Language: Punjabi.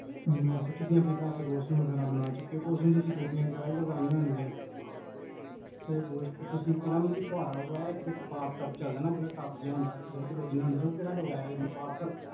ਤੁਸੀਂ ਆਪਣੇ ਘਰ ਚ washroom ਵਗੇਰਾ ਬਣਾਇਆ, ਓਸ ਚ ਤੁਸੀਂ ਟੂਟੀਆਂ ਵਗੇਰਾ ਵੀ ਲਵਾਈਆਂ ਹੋਣਗੀਆਂ ਤੇ ਓਸ ਚ ਤੁਸੀਂ ਕੇਹੜਾ ਮਤਲਬ ਕੀ ਫਵਾਰਾ ਲਵਾਇਆ, ਇਕ bath tub ਚਲਦਾ ਨਾ ਇਕਵਾਰ, tub ਜੇਹਾ ਹੁੰਦਾ ਆ, ਓਦੇ ਚ ਲੋਕੀ ਨਹਾਂਦੇ ਨੇ, ਓਹ ਕੇਹੜਾ ਲਵਾਇਆ ਤੁਸੀਂ